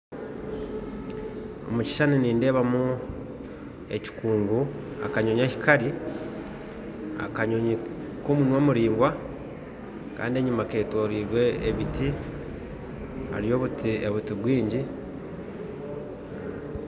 Omukishushani nindeebamu ekikungu akanyonyi ahi kari akanyonyi k'omunwa muraingwa kandi enyima ketoroirwe ebiti hariyo obuti bwingi